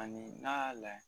Ani n'a y'a la